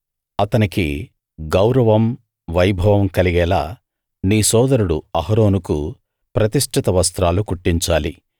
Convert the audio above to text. అతనికి గౌరవం వైభవం కలిగేలా నీ సోదరుడు అహరోనుకు ప్రతిష్ఠిత వస్త్రాలు కుట్టించాలి